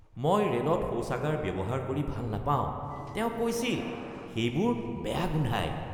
মই ৰে'লত শৌচাগাৰ ব্যৱহাৰ কৰি ভাল নাপাওঁ, তেওঁ কৈছিল, "সেইবোৰ বেয়া গোন্ধায়"